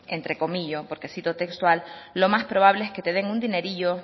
entrecomillo porque cito textual lo más probable es que te den un dinerillo